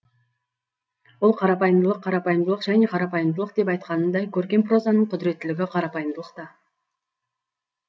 ол қарапайымдылық қарапайымдылық және қарапайымдылық деп айтқанындай көркем прозаның құдіреттілігі қарапайымдылықта